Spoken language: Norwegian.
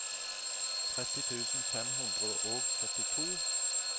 tretti tusen fem hundre og syttito